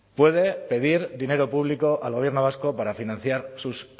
puede pedir dinero público al gobierno vasco para financiar sus